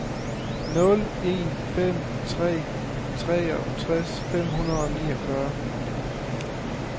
nul en fem tre treogtres fem hundrede og niogfyrre